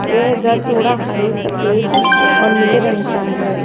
यह घर थोड़ा हरे सफेद और नीले रंग का है।